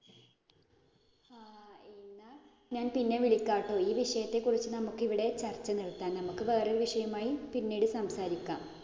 ഞാൻ പിന്നെ വിളിക്കാം ട്ടോ. ഈ വിഷയത്തെക്കുറിച്ച് നമുക്ക് ഇവിടെ ചര്‍ച്ച നിര്‍ത്താം. നമ്മക്ക് വേറെ വിഷയവുമായി പിന്നീടു സംസാരിക്കാം.